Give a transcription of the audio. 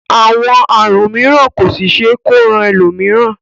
Àwọn àrùn mìíràn kò sì ṣe é kó ran ẹlòmíràn